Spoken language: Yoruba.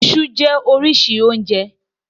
Iṣú jẹ́ oríṣi oúnjẹ.